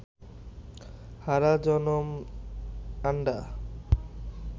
হারা জনম আন্ডা